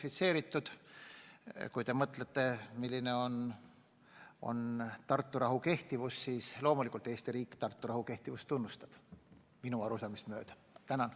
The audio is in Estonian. Kui te oma küsimusega mõtlete, kas Tartu rahu kehtib, siis loomulikult Eesti riik minu arusaamist mööda Tartu rahu kehtivust tunnustab.